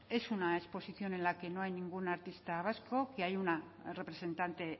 es una exposición en la que no hay ningún artista vasco que hay una representante